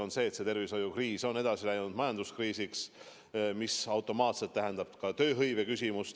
On selge, et tervishoiukriis on üle läinud majanduskriisiks, mis automaatselt tähendab ka tööhõive küsimust.